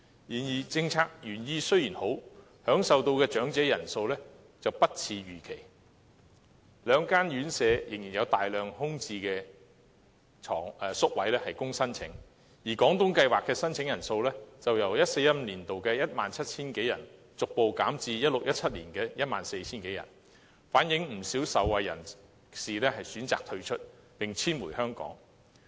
然而，政策原意雖好，享受到的長者人數卻不似預期，兩間院舍仍然有大量空置宿位供申請；而"廣東計劃"的申請人數，則由 2014-2015 年度的 17,000 多人，逐步減至 2016-2017 年度的 14,000 人，反映不少受惠人士選擇退出，並遷回香港。